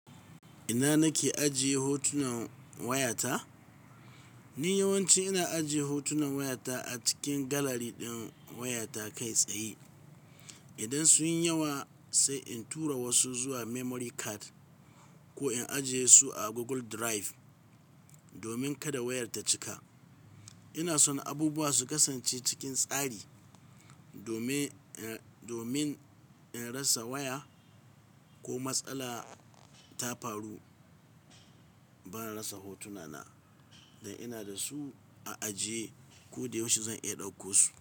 Ina nake ajiye hotunan wayata? Ni yawanci ina ajiye hotunan wayata a cikin gallery ɗin wayata kai tsaye. Idan sun yi yawa sai in tura wasu zuwa memory card ko in ajiye su a Google Drive domin kada wayar ta cika. Ina son abubuwa su kasance cikin tsari domin in rasa waya ko matsala ta faru, ban rasa hotunana da ina da su a ajiye ko da yaushe zan iya ɗauko su.